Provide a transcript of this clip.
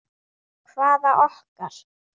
Hvaða okkar?